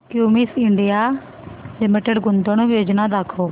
Cummins India limited गुंतवणूक योजना दाखव